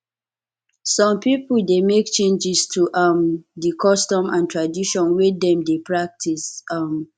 some pipo de make changes to um di custom and tradition wey dem de practice um